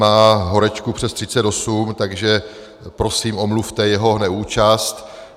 Má horečku přes 38, takže prosím omluvte jeho neúčast.